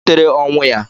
Kedu ihe butere ọnwụ ya?